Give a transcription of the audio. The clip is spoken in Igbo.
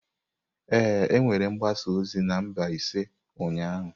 Ee, e nwere mgbasa ozi na Mbaise ụnyahụ.